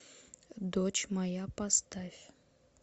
дочь моя поставь